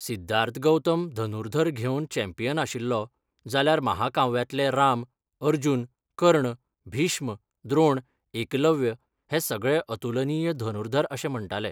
सिद्धार्थ गौतम धनुर्धर घेवन चॅम्पियन आशिल्लो, जाल्यार महाकाव्यांतले राम, अर्जुन, कर्ण, भीष्म, द्रोण, एकलव्य हे सगळे अतुलनीय धनुर्धर अशें म्हण्टाले.